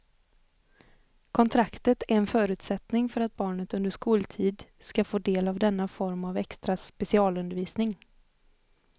Kontraktet är en förutsättning för att barnet under skoltid ska få del av denna form av extra specialundervisning.